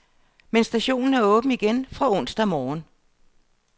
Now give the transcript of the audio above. Men stationen er åben igen fra onsdag morgen.